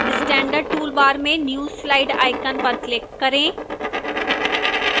standard toolbar में new slide icon पर click करें